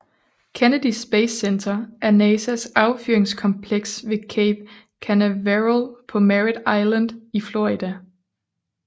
Kennedy Space Center er NASAs affyringskompleks ved Cape Canaveral på Merrit Island i Florida